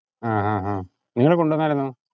ആഹ് ആഹ് ആഹ് നിങ്ങള് കൊണ്ടുവന്നാരുന്നോ?